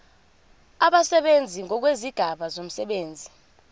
abasebenzi ngokwezigaba zomsebenzi